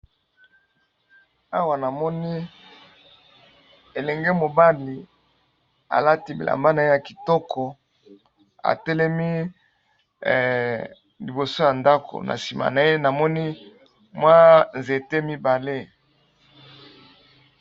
Awa namoni elenge mobali alati bilamba na ye ya kitoko atelemi liboso ya ndako na nsima na ye namoni mwa nzete mibale.